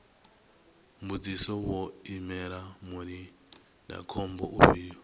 mbudziso vho imela mulindakhombo ufhio